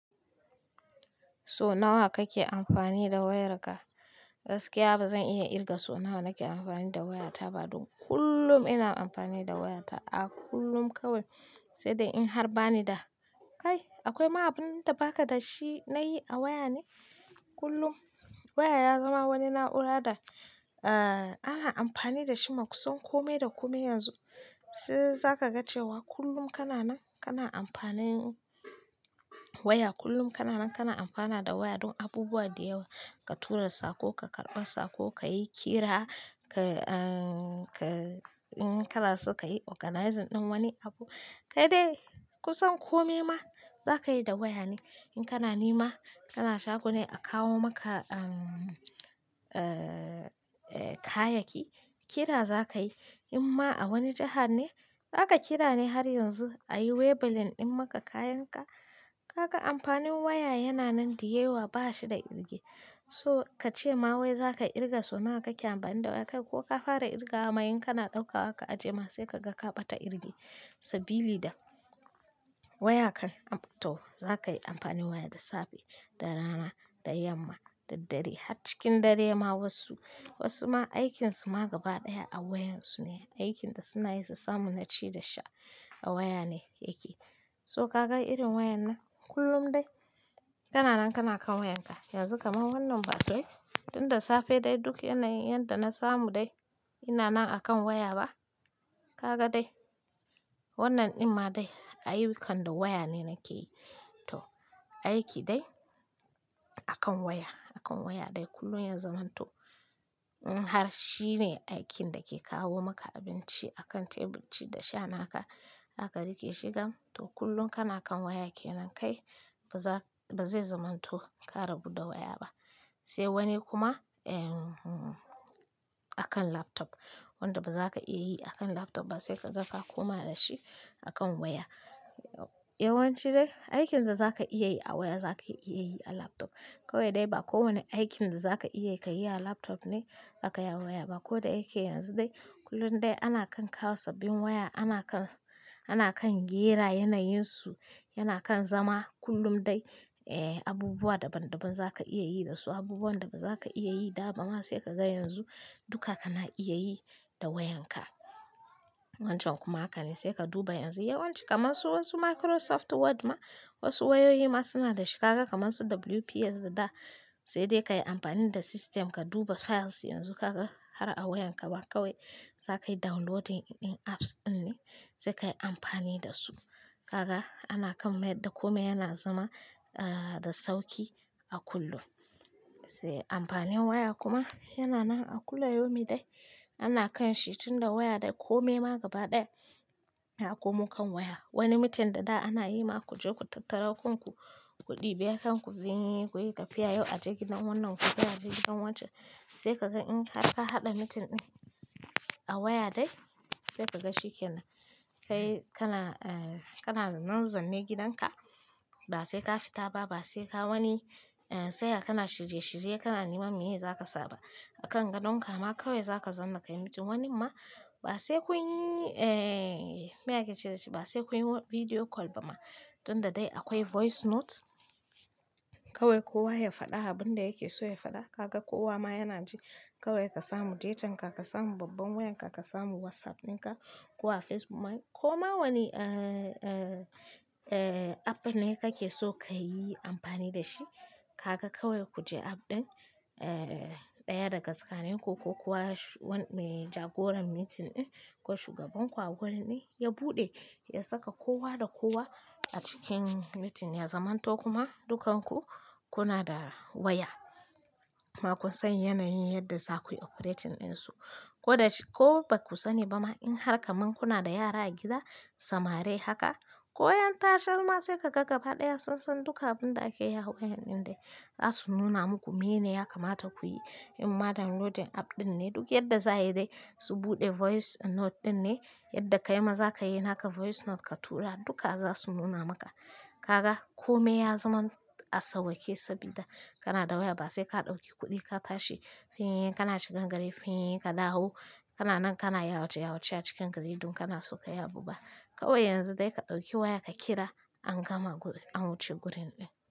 So nawa kake amfani da wayarka? Gaskiya ba zan iya irga so nawa nake amfani da wayata ba don kullum ina amfani da wayata a kullum kawai. Sai dai in har bani da, kai akwai ma abunda baka da shi nayi a waya ne kullum. Waya ya zama wani na'ura da, eh ana amfani da shi makusan kome da kome yanzu. Sai za ka ga cewa kullum kana nan, kana amfanin waya. Kullum kana nan kana amfana da waya don abubuwa da yawa. Ka tura sako, ka karɓa sako, ka yi kira, ka, in kana so ka yi organizing ɗin wani abu. Kai dai kusan kome ma zaka yi da waya ne. In kana nema, kana shagone a kawo maka, kayaki, kira za ka yi. In ma a wani jahar ne, za ka kira ne har yanzu a yi waybill ɗin maka kayanka. Kaga amfanin waya yana nan da yawa ba shi da irge. So ka ce ma wai za ka irga so nawa kake amfani da waya kai ko ka fara irgawa ma in kana ɗauka aka ajiye ma sai ka ga ka ɓata irge sabili da waya kan. To za ka yi amfani waya da safe, da rana, da yamma, da dare. Har cikin dare ma wasu, wasu ma aikinsu ma gaba ɗaya a wayan su ne. Aikin da suna yasa samu naci da sha a waya ne yake. So ka gan irin wayan nan kullum dai, kana nan kana kan wayanka. Yanzu kaman wannan batun, tun da safe dai duk yana yin yadda na samu dai ina nan akan waya ba. Kaga dai wannan ɗin ma dai ayyukan da waya ne nake yi. To aiki dai akan waya, akan waya dai kullum yazamanto. In har shine aikin da ke kawo maka abinci akan tebur ci da sha naka zaka riƙe shi gam. To kullum kana kan waya ke nan kai ba za, ba zai zamanto ka rabu da waya ba. Sai wani kuma, ehh, akan laptop. Wanda bazaka iya yi akan laptop ba sai kaga ka koma da shi akan waya. Yawanci dai aikin da za ka iya yi a waya zaka iya yi a laptop. Kawai dai ba kowane aikin da za ka iya ka yi a laptop ne zakayi a waya ba. Ko da yake yanzu dai kullum dai ana kan kawo sababbin waya, ana kan, ana kan gera yanayinsu, yana kan zama kullum dai, eh abubuwa daban daban za ka iya yi da su. Abubuwan da baza ka iya yi da ba ma sai ka ga yanzu duka kana iya yi da wayanka. Wancan kuma haka ne sai ka duba yanzu yawanci, kamar su wasu Microsoft Word ma wasu wayoyi ma suna da shi. Kaga kamar su WPS da da sai dai ka yi amfani da system ka duba files yanzu kaga har a wayanka ma kawai za ka yi downloading ɗin apps ɗin ne sai ka yi amfani da su. Kaga ana kan maida kome yana zama, eh da sauki a kullum. Sai amfanin waya kuma yana nan a kullayaumi dai. Ana kan shi tun da waya dai kome ma gaba ɗaya yakomo kan waya. Wani meeting da da ana yi ma ku je ku tattara kanku ku ɗibi kanku, kuyi tafiya yau aje gidan wannan gobe aje gidan wancan sai ka gan in har ka haɗa meeting ɗin a waya dai sai ka ga shikenan. Kai kana, kana nan zanne gidanka ba sai ka fita ba ba sai ka wani, tsaya kana shirye shirye kana neman meye za ka sa ba akan gadonka ma kawai za ka zanna ka yi meeting wani ma ba sai kun yi, meye ake ce dashi ba sai kun yi video call ba ma. Tun da dai akwai voice note kawai kowa ya faɗa abunda yake so ya faɗa. Kaga kowa ma yana ji kawai ka samu datan ka, ka samu babban wayan ka, ka samu WhatsApp ɗin ka ko a Facebook ma ko ma wani, app ne kake so ka yi amfani da shi kaka kawai ku je app ɗin, ɗaya daga tsakanin ku ko kuwa me jagoran meeting ɗin ko shugaban ku a gurin ɗin ya buɗe ya saka kowa da kowa a cikin meeting ya zamanto kuma dukkan ku kuna da waya. Baku san yanayin yadda zaku yi operating ɗinsu ko da shi ko baku sani ba ma in har kamun kuna da yara a gida, samari haka ko yan tashe ma sai ka ga gaba ɗaya sunsan duka abunda ake yi a wayan ɗin dai za su nuna muku meye ne ya kamata ku yi. In ma downloadin app ɗin ne duk yadda za a yi dai su buɗe voice note ɗin ne yadda kai ma za ka yi naka voice note ka tura duka za su nuna maka. Kaga kome ya zaman a sauwaƙe sabida kana da waya ba sai ka ɗauki kuɗi ka tashi fin, kana shigan gari fin, ka dawo kana nan kana yawace yawace a cikin gari don kana so ka yi abu ba. Kawai yanzu dai ka ɗauki waya ka kira an gama guri, an wuce gurin ɗin.